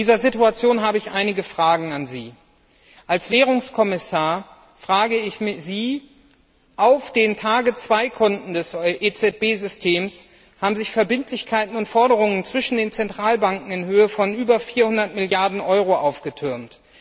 In dieser Situation habe ich einige Fragen an Sie als Währungskommissar Auf den TARGET2 Konten des EZB Systems haben sich Verbindlichkeiten und Forderungen zwischen den Zentralbanken in Höhe von über 400 Milliarden Euro aufgetürmt.